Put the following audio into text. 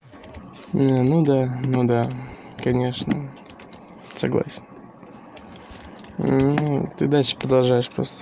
ну да ну да конечно согласен ну ты дальше продолжаешь просто